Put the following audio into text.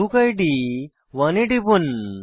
বুক ইদ 1 এ টিপুন